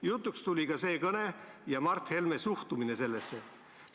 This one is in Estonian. Jutuks tuli ka see kõne ja Mart Helme suhtumine sellesse.